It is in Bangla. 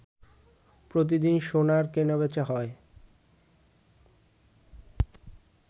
প্রতিদিন সোনার কেনাবেচা হয়